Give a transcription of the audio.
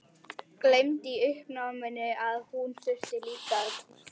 Gleymdi í uppnáminu að hún þurfti líka að túlka.